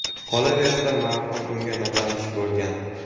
Qolaversa, marhum unga notanish bo‘lgan.